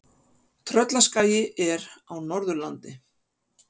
Tröllaskagi er á Norðurlandi.